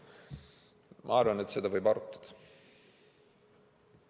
Ma arvan, et seda võib arutada.